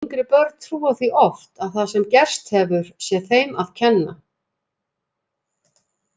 Yngri börn trúa því oft að það sem gerst hefur sé þeim að kenna.